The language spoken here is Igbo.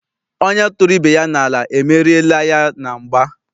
Onye tụrụ ibe ya n'ala, emeriela ya na mgba.